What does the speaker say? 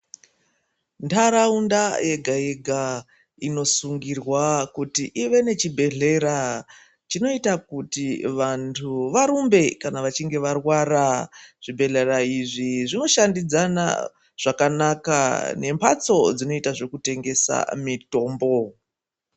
Ntaraunda yega yega unosungirwa kuti ive nechibhodhlera chekuti vantu varumbe kana vechinge varwara zvibhedhlera izvi zvinoshandidzana zvakanaka nembatso dzinoita zvekutengesa mitombo.